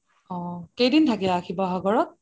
অহ কেইদিন থাকিলা শিৱসাগতৰ ?